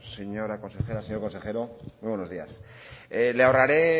señora consejera señor consejero muy buenos días le ahorraré